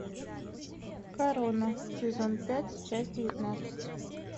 корона сезон пять часть девятнадцать